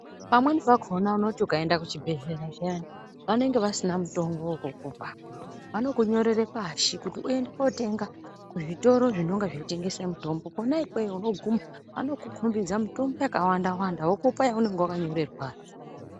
Pamweni pakona unoti ukaenda ku chibhedhleya zviyani vanenge vasina mutombo we kukupa vanoku nyorere pashi kuti uende kotenga ku zvitoro zvinonga zvino tengesa mutombo kona ikweyo uno guma vanoku kombidza mutombo yaka wanda wanda vokupa yaunenge wakanyorerwa.